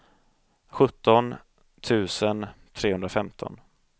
sjutton tusen trehundrafemton